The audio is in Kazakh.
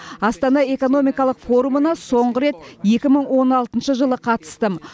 астана экономикалық форумына соңғы рет екі мың он алтыншы жылы қатыстым